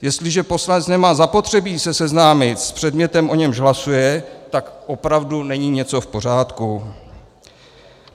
Jestliže poslanec nemá zapotřebí se seznámit s předmětem, o němž hlasuje, tak opravdu není něco v pořádku.